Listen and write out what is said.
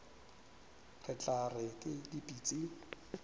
re tla re ke dipitsi